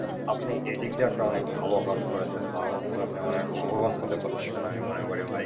আপনি এদিক দিয়ে অনেক একটা ভালো কাজ করেছেন যার মাধ্যমে আপনি অনেক লাভবান করতেছেন আমি মনে করি ভাই,